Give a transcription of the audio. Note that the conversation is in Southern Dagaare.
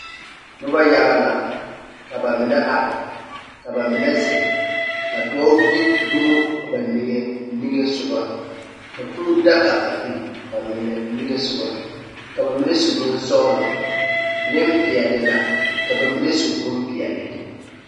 Noba yaga la ka bamine are, ka ba mine zeŋ, ka dɔɔ gbi dumo ba niŋesogɔ, ka kūū dag aba mine niŋesogɔ, ka ba mine su bonsɔglɔ, nempeɛle la , ka ba mine su bompeɛle.